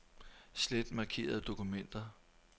Slet markerede dokumenter.